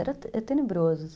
Era tenebroso.